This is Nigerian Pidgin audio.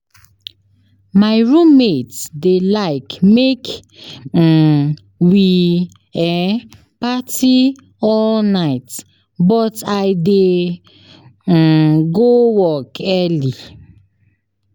My roommate dey like make um we um party all night, but I dey um go work early.